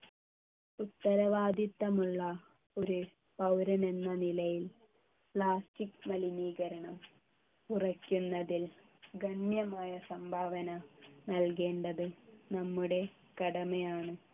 ഉത്തരവാദിത്വമുള്ള ഒരു പൗരൻ എന്ന നിലയിൽ plastic മലിനീകരണം കുറയ്ക്കുന്നതിൽ ഗണ്യമായ സംഭാവന നൽകേണ്ടത് നമ്മുടെ കടമയാണ്